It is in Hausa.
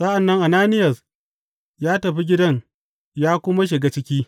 Sa’an nan Ananiyas ya tafi gidan ya kuma shiga ciki.